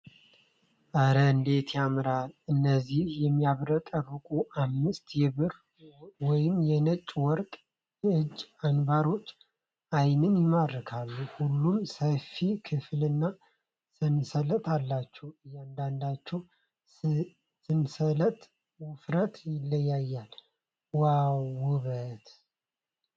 ኧረ እንዴት ያምራል! እነዚህ የሚያብረቀርቁ አምስት የብር ወይም የነጭ ወርቅ የእጅ አንባሮች ዓይንን ይማርካሉ ። ሁሉም ሰፊ ክፍልና ሰንሰለት አላቸው ። የእያንዳንዳቸው ሰንሰለት ውፍረት ይለያያል ። ዋው ውበት!